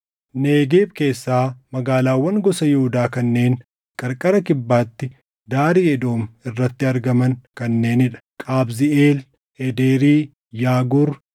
Negeeb keessaa magaalaawwan gosa Yihuudaa kanneen qarqara kibbaatti daarii Edoom irratti argaman kanneenii dha: Qabziʼeel, Eederi, Yaaguur,